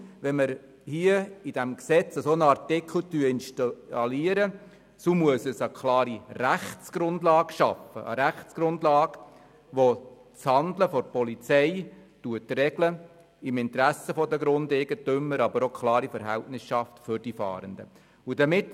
Wenn wir im Gesetz einen solchen Artikel installieren, so muss er eine klare Rechtsgrundlage schaffen, die das Handeln der Polizei im Interesse der Grundeigentümer regelt, aber auch für die Fahrenden klare Verhältnisse schafft.